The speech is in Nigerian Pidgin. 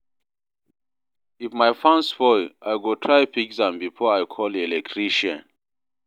If my fan spoil, I go try fix am before I call electrician.